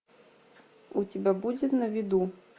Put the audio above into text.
у тебя будет на виду